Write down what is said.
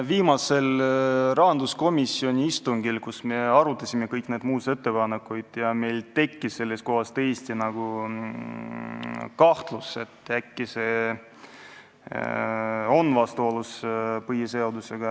Viimasel rahanduskomisjoni istungil, kus me arutasime kõiki neid muudatusettepanekuid, meil tekkis tõesti kahtlus, et äkki see on vastuolus põhiseadusega.